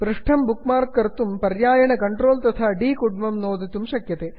पृष्ठं bookmark कर्तुं पर्यायेण Ctrl तथा D कीलं नोत्तुं शक्यते